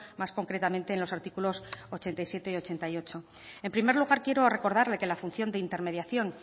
más concretamente en los artículos ochenta y siete y ochenta y ocho en primer lugar quiero recordarle que la función de intermediación